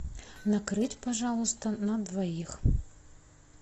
накрыть пожалуйста на двоих